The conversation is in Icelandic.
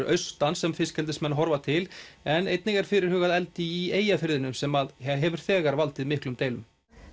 austan sem fiskeldismenn horfa til en einnig er fyrirhugað eldi í Eyjafirði sem hefur þegar valdið miklum deilum